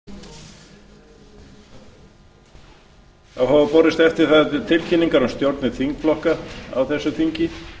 það hafa borist eftirfarandi tilkynningar um stjórnir þingflokka á þessu þingi